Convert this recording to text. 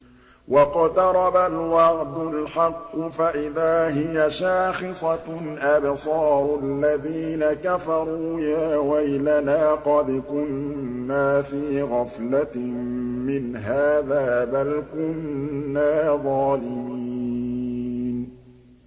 وَاقْتَرَبَ الْوَعْدُ الْحَقُّ فَإِذَا هِيَ شَاخِصَةٌ أَبْصَارُ الَّذِينَ كَفَرُوا يَا وَيْلَنَا قَدْ كُنَّا فِي غَفْلَةٍ مِّنْ هَٰذَا بَلْ كُنَّا ظَالِمِينَ